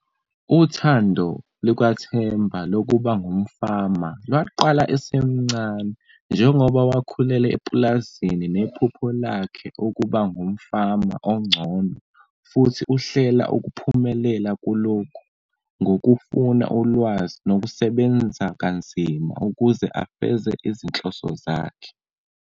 Uthando lukaThemba lokuba ngumfama lwaqala esemncane, njengoba wakhulela epulazini nephupho lakhe ukuba ngumfama oncono futhi uhlela ukuphumelela kulokhu ngokufuna ulwazi nokusebenza kanzima ukuze afeze izinhloso zakhe.